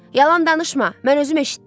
Yalan danışma, mən özüm eşitdim.